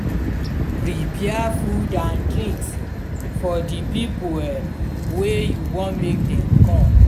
prepare food and drinks for the pipo wey you won make dem come